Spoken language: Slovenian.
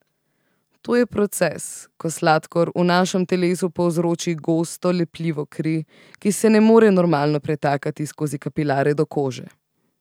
To je proces, ko sladkor v našem telesu povzroči gosto, lepljivo kri, ki se ne more normalno pretakati skozi kapilare do kože.